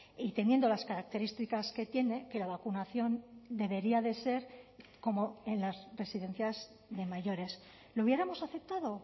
y teniendo las características que tiene que la vacunación debería de ser como en las residencias de mayores lo hubiéramos aceptado